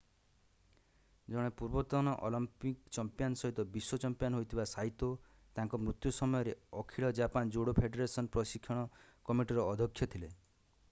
ଜଣେ ପୂର୍ବତନ Olympic champion ସହିତ ବିଶ୍ୱ ଚମ୍ପିଆନ୍ ହୋଇଥିବା ସାଇତୋ ତାଙ୍କର ମୃତ୍ୟୁ ସମୟରେ ଅଖିଳ ଜାପାନ ଜୁଡୋ ଫେଡେରେସନ୍ ପ୍ରଶିକ୍ଷଣ କମିଟିର ଅଧ୍ୟକ୍ଷ ଥିଲେ